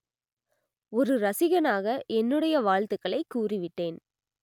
ஒரு ரசிகனாக என்னுடைய வாழ்த்துக்களை கூறி விட்டேன்